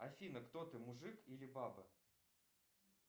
афина кто ты мужик или баба